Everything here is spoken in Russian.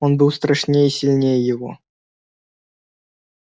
он был страшнее и сильнее его